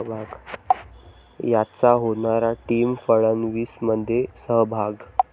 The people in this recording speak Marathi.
...'यांचा' होणार टीम फडणवीसमध्ये सहभाग